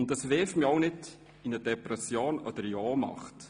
Und das stürzt mich daher auch nicht in eine Depression oder eine Ohnmacht.